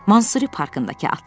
Mansuri parkındakı atlar.